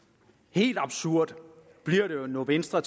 helt absurd bliver det jo når venstre